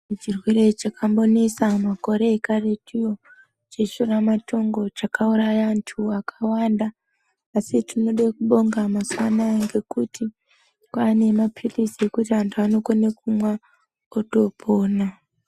Chirwere chakambonesa makore ekaretuyo, cheshura matongo, chakauraya antu akawanda, asi tinode kubonga mazuva anaya ngekuti, kwaane mapilizi ekuti antu anokone kumwa otopona.